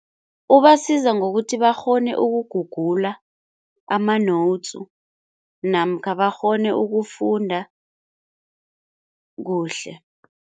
Ubasiza ngokuthi bakghone ukugugula ama-notes namkha bakghone ukufunda kuhle.